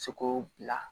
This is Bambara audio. Seko bila